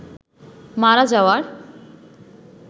মারা যাওয়ার